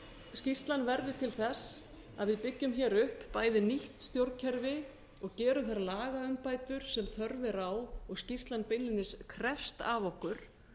skýrslan verði til þess að við byggjum hér upp bæði nýtt stjórnkerfi og gerum þær lagaumbætur sem þörf er á og skýrslan beinlínis krefst af okkur